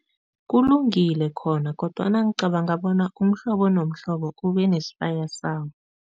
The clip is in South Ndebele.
Kulungile khona kodwana ngicabanga bona umhlobo nomhlobo kube nesibaya sawo.